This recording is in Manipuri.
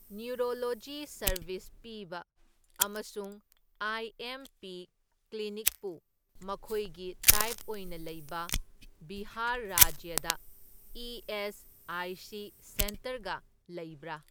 ꯅ꯭ꯌꯨꯔꯣꯂꯣꯖꯤ ꯁꯔꯕꯤꯁ ꯄꯤꯕ ꯑꯃꯁꯨꯡ ꯑꯥꯏ ꯑꯦꯝ ꯄꯤ ꯀ꯭ꯂꯤꯅꯤꯛꯄꯨ ꯃꯈꯣꯏꯒꯤ ꯇꯥꯏꯞ ꯑꯣꯏꯅ ꯂꯩꯕ ꯕꯤꯍꯥꯔ ꯔꯥꯖ꯭ꯌꯗ ꯏ.ꯑꯦꯁ.ꯑꯥꯏ.ꯁꯤ. ꯁꯦꯟꯇꯔꯒ ꯂꯩꯕ꯭ꯔꯥ꯫